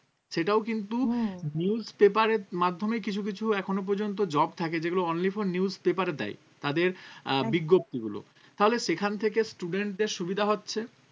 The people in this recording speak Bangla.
সেটাও কিন্তু newspaper এর মাধ্যমে কিছু কিছু এখনো পর্যন্ত job থাকে যেগুলো only for newspaper এ দেয় তাদের আহ বিজ্ঞপ্তিগুলো তাহলে সেখান থেকে students দের সুবিধা হচ্ছে